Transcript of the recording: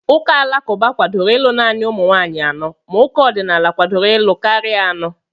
Ụka alakụba kwadoro ịlụ naanị ụmụ nwaanyị anọ ma ụka ọdịnala kwadoro ịlụ karịa anọ.